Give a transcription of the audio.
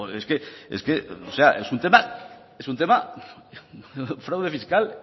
es que es un tema es un tema fraude fiscal